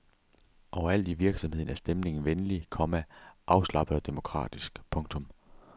Overalt i virksomheden er stemningen venlig, komma afslappet og demokratisk. punktum